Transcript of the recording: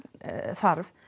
þarf